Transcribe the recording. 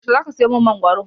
Yaushe zaka siyo min mangoro?